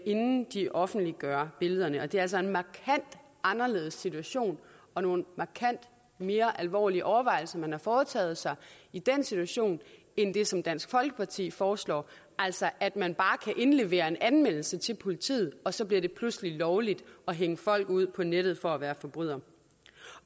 inden de offentliggør billederne og det er altså en markant anderledes situation og nogle markant mere alvorlige overvejelser man har foretaget sig i den situation end det som dansk folkeparti foreslår altså at man bare kan indlevere en anmeldelse til politiet og så bliver det pludselig lovligt at hænge folk ud på nettet for at være forbrydere